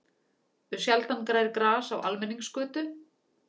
Sjaldan grær gras á almenningsgötu.